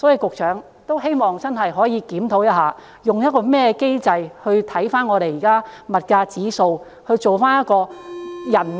因此，希望局長可以真的檢討一下，用甚麼機制檢視現時的物價指數以制訂綜援計劃。